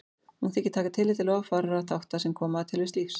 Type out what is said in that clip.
Hún þykir taka tillit til of fárra þátta sem koma að tilvist lífs.